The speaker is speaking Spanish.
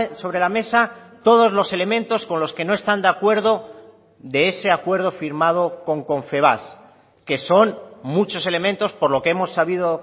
sobre la mesa todos los elementos con los que no están de acuerdo de ese acuerdo firmado con confebask que son muchos elementos por lo que hemos sabido